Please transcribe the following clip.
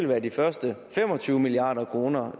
være de første fem og tyve milliard kroner